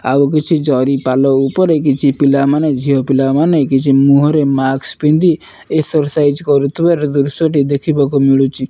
ଆଉକିଛି ଜରି ପାଲ ଉପରେ କିଛି ପିଲାମାନେ ଝିଅ ପିଲାମାନେ ମୁହଁରେ କିଛି ମାସ୍କ୍ ପିନ୍ଧି ଏକ୍ସରସାଇଜ କରୁଥିବାର ଦୃଶ୍ୟଟି ଦେଖିବାକୁ ମିଳୁଚି।